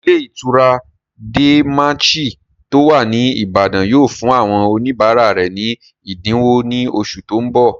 Ilé ìtura De Manchy tó wà ní Ìbàdàn yóò fún àwọn oníbàárà rẹ̀ ní ẹ̀dínwó ní oṣù tó n bọ̀